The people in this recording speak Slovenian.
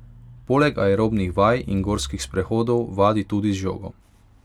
Poleg aerobnih vaj in gorskih sprehodov vadi tudi z žogo.